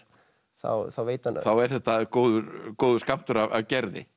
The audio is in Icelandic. þá veit hann þá er þetta góður góður skammtur af Gerði